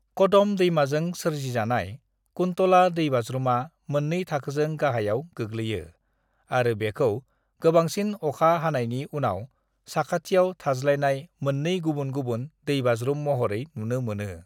"कदम दैमाजों सोरजिजानाय, कुंतला दैबाज्रुमा मोन्नै थाखोजों गाहायाव गोग्लैयो आरो बेखौ गोबांसिन अखा हानायनि उनाव साखाथियाव थाज्लायनाय मोन्नै गुबुन-गुबुन दैबाज्रुम महरै नुनो मोनो ।"